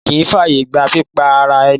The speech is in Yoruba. Òfin kì í ń fàyègba pípa ara-ẹni.